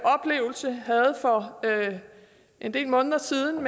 for en del måneder siden